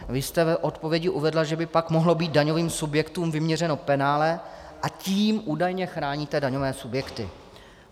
Vy jste v odpovědi uvedla, že by pak mohlo být daňovým subjektům vyměřeno penále, a tím údajně chráníte daňové subjekty.